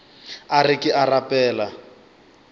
a re ke a rapela